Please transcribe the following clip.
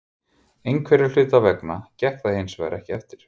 Einhverra hluta vegna gekk það hinsvegar ekki eftir.